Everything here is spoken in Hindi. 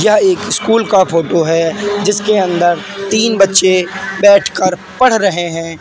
यह एक स्कूल का फोटो है जिसके अंदर तीन बच्चे बैठकर पढ़ रहे हैं।